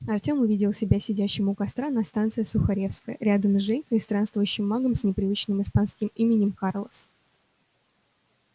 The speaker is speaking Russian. артём увидел себя сидящим у костра на станции сухаревская рядом с женькой и странствующим магом с непривычным испанским именем карлос